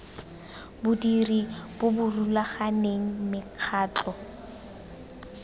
bodiri bo bo rulaganeng mekgatlho